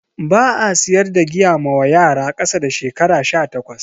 Ba'a siyar da giya mawa yara kasa da shekara 18